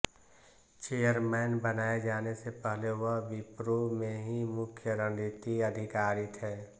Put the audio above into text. chairman बनाये जाने से पहले वह विप्रो में ही मुख्य रणनीति अधिकारी थे